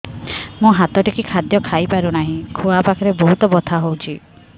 ମୁ ହାତ ଟେକି ଖାଦ୍ୟ ଖାଇପାରୁନାହିଁ ଖୁଆ ପାଖରେ ବହୁତ ବଥା ହଉଚି